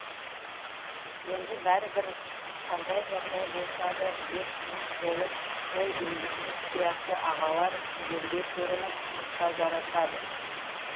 енді бәрібір қандай жағдай болса да ел тыныш болып сол өзіңіз сияқты ағалар елге көрініп тұрса жарасады